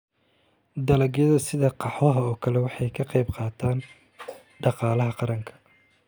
Dalagyada sida qaxwaha oo kale waxay ka qayb qaataan dhaqaalaha qaranka.